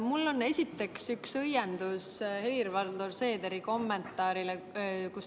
Mul on esiteks üks õiendus Helir-Valdor Seederi kommentaari kohta.